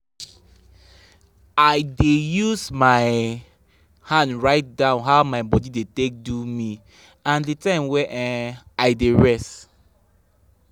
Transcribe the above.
i dey use my um hand write down how my body dey take do me and the time wey um i dey rest.